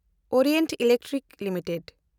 Orient Electric limited